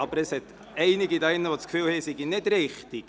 Aber es gibt einige hier im Saal, die meinen, ich läge nicht richtig.